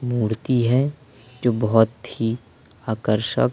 मूर्ति है जो बहोत ही आकर्षक--